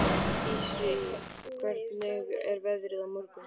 Dissý, hvernig er veðrið á morgun?